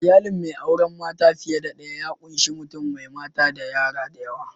Iyalin mai auren mata fiye da daya ya ƙunshi mutum mai mata da yara da yawa.